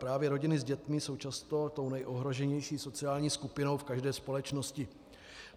Právě rodiny s dětmi jsou často tou nejohroženější sociální skupinou v každé společnosti.